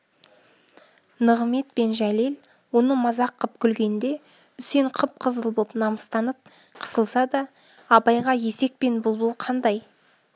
нығымет пен жәлел оны мазақ қып күлгенде үсен қып-қызыл боп намыстанып қысылса да абайға есек пен бұлбұл қандай